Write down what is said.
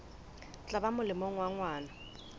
tla ba molemong wa ngwana